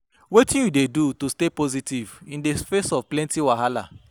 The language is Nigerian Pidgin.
Wetin you dey do to stay positive in di face of plenty wahala?